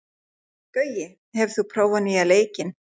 Gaui, hefur þú prófað nýja leikinn?